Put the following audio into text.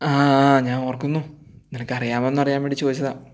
ആഹ് ഞാൻ ഓർക്കുന്നു നിനക്ക് അറിയാവുന്നു അറിയാൻ വേണ്ടി ചോദിച്ചതാ